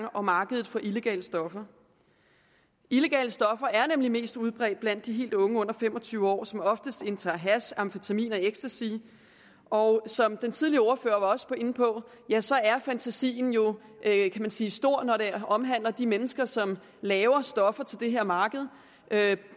og markedet for illegale stoffer illegale stoffer er nemlig mest udbredt blandt helt unge under fem og tyve år som oftest indtager hash amfetamin og ecstasy og som den tidligere ordfører også var inde på ja så er fantasien jo kan man sige stor når det omhandler de mennesker som laver stoffer til det her marked